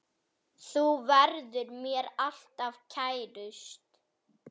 Þú verður mér alltaf kærust.